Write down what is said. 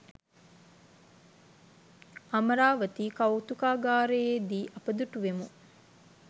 අමරාවතී කෞතුකාගාරයේ දී අපි දුටුවෙමු.